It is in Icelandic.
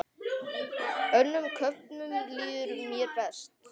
Önnum köfnum líður mér best.